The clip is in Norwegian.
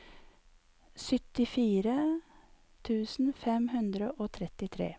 syttifire tusen fem hundre og trettitre